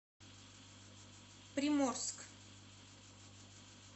приморск